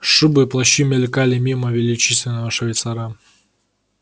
шубы и плащи мелькали мимо величественного швейцара